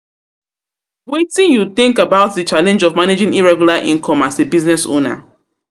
Wetin you think about the challenge of managing irregular income as a business owna